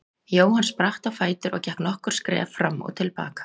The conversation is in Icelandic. Jóhann spratt á fætur og gekk nokkur skref fram og til baka.